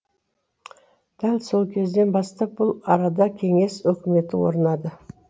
дәл сол кезден бастап бұл арада кеңес өкіметі орнады